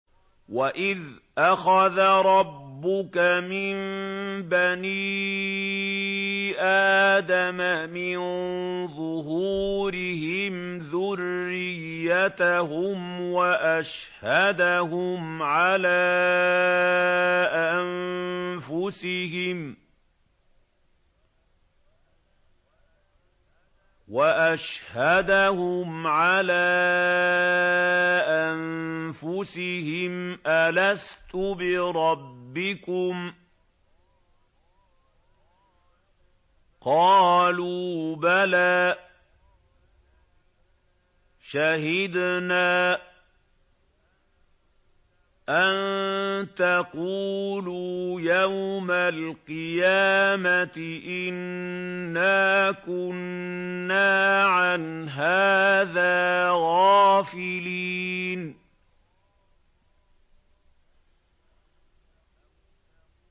وَإِذْ أَخَذَ رَبُّكَ مِن بَنِي آدَمَ مِن ظُهُورِهِمْ ذُرِّيَّتَهُمْ وَأَشْهَدَهُمْ عَلَىٰ أَنفُسِهِمْ أَلَسْتُ بِرَبِّكُمْ ۖ قَالُوا بَلَىٰ ۛ شَهِدْنَا ۛ أَن تَقُولُوا يَوْمَ الْقِيَامَةِ إِنَّا كُنَّا عَنْ هَٰذَا غَافِلِينَ